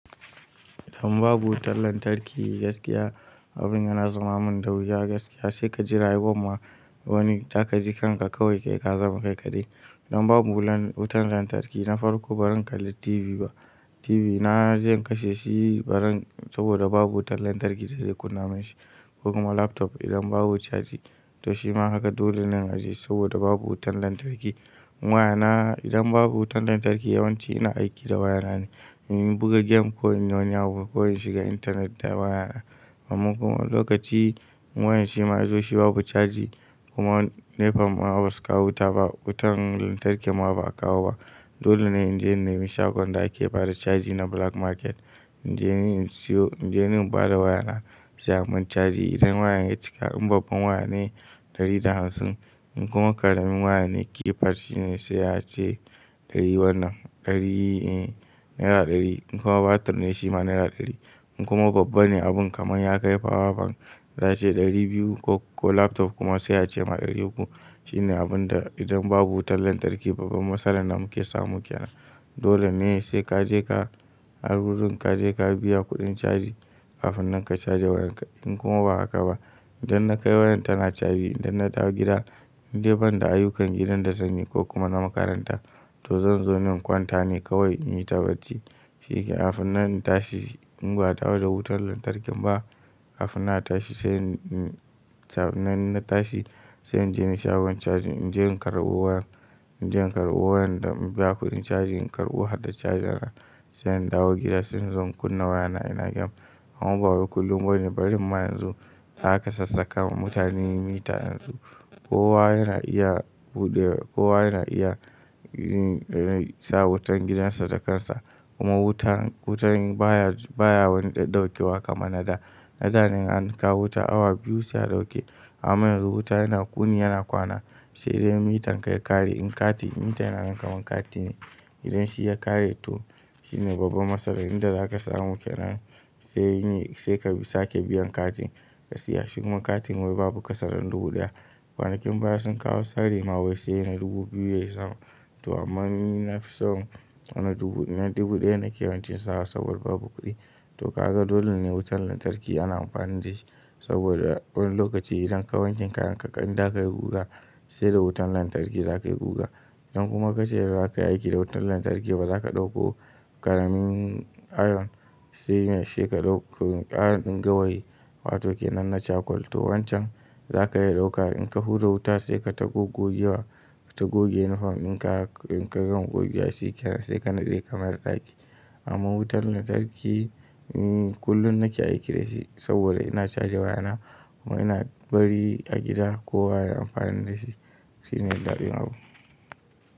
Idan babu wutar lantarki gaskiya, abin yana zamamin da wuya gaskiya. Sai ka ji rayuwan ma wani zaka ji kan ka kawai kai ka zama kai kaɗai. Idan babu wutan lantarki, na farko ba zan kalli TV ba. TV na zai kashe shi bazan saboda babu wutar lantarki da zai kunna min shi, ko kuma laptop idan babu caji. To shima haka dole ne in ajiye saboda babu wutan lantarki. Wayana idan babu wutan lantarki yawanci ina aiki da wayana ne. In buga game ko inyi wani abun ko in shiga intanet da wayana. Amma kuma lokaci wayar shima ya zo shi babu caji kuma NEPA ma basu kawo wuta ba. Wutan lantarki ma ba a kawo ba. Dole ne inje inne mi shagon da ake bada caji na black market. In je in siyo, in je in bada wayana sai ayimun caji. Idan wayan ya cika, in babban waya ne ɗari da hamsin. In kuma ƙaramin waya ne keypad shi ne sai ace ɗari wannan. Ɗari e naira ɗari. In kuma battery ne shi ma naira ɗari. In kuma babba ne abun kamar ya kai power bank za ace ɗari biyu ko laptop kuma sai ace ma ɗari uku. Shine abun da idan babu wutan lantarki babban matsalar da muke samu ke nan. Dole ne sai ka je ka har wurin ka je ka biya kuɗin caji kafin nan ka caje wayan ka. In kuma ba haka ba, idan na kai wayan tana caji idan na dawo gida, in dai ban da ayyukan gidan da zan yi ko kuma na makaranta to zan zo ni in kwanta ne kawai in yi ta bacci. Sai kafin na tashi in ba a dawo da wutar lantarkin ba, kafin na tashi sai in tafi nan ina tashi sai in je shagon caji. In je in karɓo wayan. In je in karɓo wayan da in biya kuɗin caji, in karɓo har da cajar sa. Sai in dawo gida sai in zo in kunna wayana ina game. Amma bawai kullum bane barin ma yanzu da aka sassaƙawa mutane mita yanzu. Kowa yana iya buɗe, kowa yana iya yi, eh, sa wutan gidan sa da kansa. Kuma wutan, wutan baya, baya wani ɗaukiwa kamar na da. Na dane in an kawo wuta awa biyu sai a ɗauke. Amma yanzu wuta yana wuni yana kwana sai idan mitan ka ya ƙare in katin mita yana nan kamar kati ne. Idan shi ya ƙare toh shine babbar matsala inda za ka samu ke nan. Sai yin yi, sai ka sake biyan katin ka siya shi. Kuma katin wai babu ƙasa dana dubu ɗaya. Kwanakin baya sun kawo tsari ma wai sai na dubu biyu yazun to amma ni na fi so na dubu, na dubu ɗaya nake yawance sawa saboda babu kuɗi. To kaga dole ne wutan lantarki ana amfani da shi saboda wani lokaci idan kayi wankin kayan ka in zaka yi guga sai da wutan lantarki zaka yi guga. Idan kuma ka ce za ka yi aiki da wutan lantarki ba. Zaka ɗauko ƙaramin iron shine sai ka ɗauko ƙaramin iron di gawayi wato kenan na cakwal. To wancan za ka iya ɗauka in ka hura wuta sai kaita goggo giwa kaita goge uniform din ka, in ka gama gogewa shi kenan sai ka nade kamayar ɗaki. Amma wutan lantarki, mm, kullum nake aiki da shi saboda ina caje wayana kuma ina bari a gida kowa ya yi amfani da shi. Shine ɗadin abun.